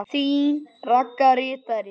Þín Ragga ritari.